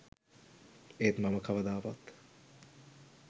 ඒත් මම කවදාවත්